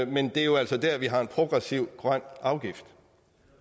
men det er jo altså der vi har en progressiv grøn afgift